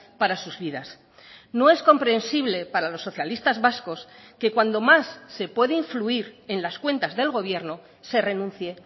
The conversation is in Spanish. para sus vidas no es comprensible para los socialistas vascos que cuando más se puede influir en las cuentas del gobierno se renuncie